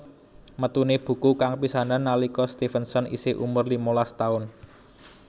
Metuné buku kang pisanan nalika Stevenson isih umur limalas taun